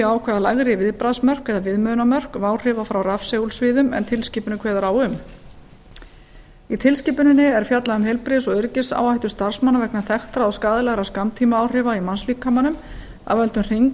ákveða lægri viðbragðsmörk eða viðmiðunarmörk váhrifa frá rafsegulsviðum en tilskipunin kveður á um í tilskipuninni er fjallað um heilbrigðis og öryggisáhættu starfsmanna vegna þekktra og skaðlegra skammtímaáhrifa í mannslíkamanum af völdum